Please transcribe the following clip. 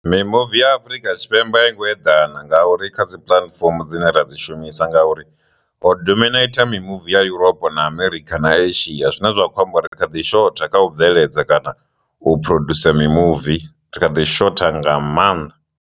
Mimuvi ya Afurika Tshipembe i ngo eḓana nga uri kha dzi puḽatifomo dzine ra dzi shumisa ngauri ho dominator mimuvi ya Europa na Amerikha na Asia zwine zwa khou amba uri ri kha ḓi shotha kha u bveledza kana u produce mimuvi ri kha ḓi shotha nga maanḓa.